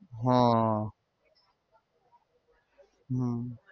હા હમ